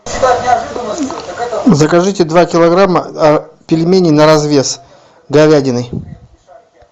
закажите два килограмма пельменей на развес говядиной